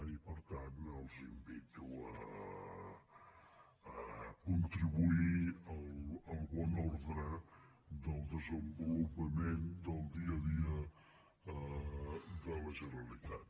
i per tant els invito a contribuir al bon ordre del desenvolupament del dia a dia de la generalitat